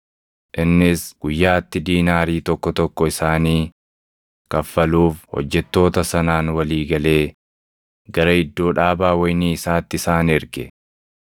Innis guyyaatti diinaarii + 20:2 Diinaariin mindaa guyyaatti hojjetaa tokkoof kaffalamu ture. tokko tokko isaanii kaffaluuf hojjettoota sanaan walii galee gara iddoo dhaabaa wayinii isaatti isaan erge.